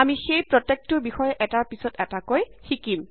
আমি সেই প্ৰত্যেকটোৰ বিষয়ে এটাৰ পিছত এটাকৈ শিকিম